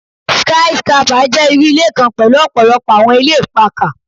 Sky scrapper jẹ iru ile kan pẹlu ọpọlọpọ awọn ilẹ ipakà